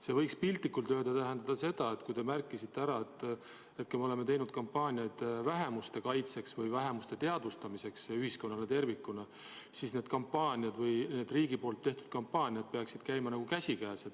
See võiks piltlikult öeldes tähendada seda, et kui te märkisite ära, et me oleme teinud kampaaniaid vähemuste kaitseks või vähemuste teadvustamiseks ühiskonnas tervikuna, siis need riigi poolt tehtavad kampaaniad peaksid käima käsikäes.